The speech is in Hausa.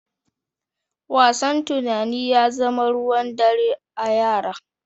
Wasan tunani ya zama ruwan dare a yara.